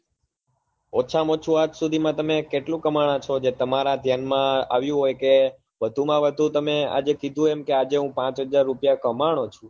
ઓછા માં ઓછુ આજ સુધી માં તમે કેટલું કામાયા છો જે તમારા ધ્યાન માં આવ્યું હોય કે કે વધુ માં વધુ તમે આજે કીધું એમ કે આજે હું પાંચ હજાર કમાણો છું